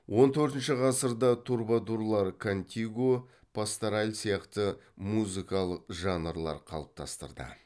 он төртінші ғасырда трубадурлар кантиго пастораль сияқты музыкалық жанрлар қалыптастырды